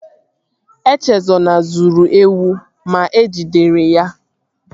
Echezona zuru ewu ma e jidere ya